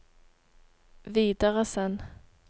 videresend